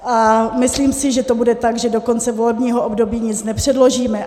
A myslím si, že to bude tak, že do konce volebního období nic nepředložíme.